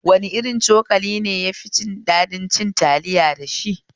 Wane irin cokali ne yafi daɗin cin taliya dashi?